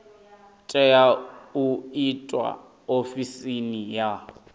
tea u itwa ofisini ya